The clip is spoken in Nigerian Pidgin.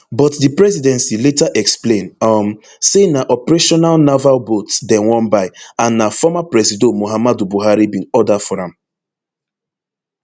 but di presidency later explain um say na operational naval boat dem wan buy and na former presido muhammadu buhari bin order for am